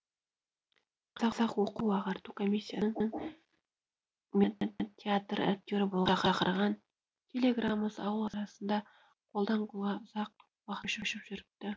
қазақ оқу ағарту комиссиясының мені театр актері болуға шақырған телеграммасы ауыл арасында қолдан қолға ұзақ уақыт көшіп жүріпті